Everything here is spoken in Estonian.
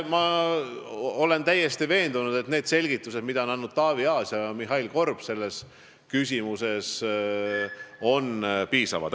Ma olen täiesti veendunud, et need selgitused, mida on selles küsimuses andnud Taavi Aas ja Mihhail Korb, on piisavad.